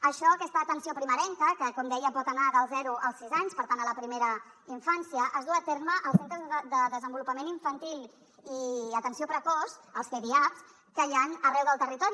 això aquesta atenció primerenca que com deia pot anar dels zero als sis anys per tant a la primera infància es duu a terme als centres de desenvolupament infantil i atenció precoç els cdiaps que hi han arreu del territori